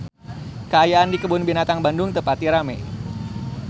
Kaayaan di Kebun Binatang Bandung teu pati rame